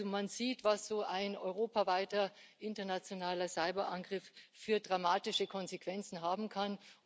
Also man sieht, was so ein europaweiter internationaler Cyberangriff für dramatische Konsequenzen haben kann.